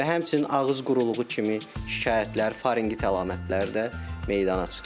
Və həmçinin ağız quruluğu kimi şikayətlər, farenqit əlamətlər də meydana çıxır.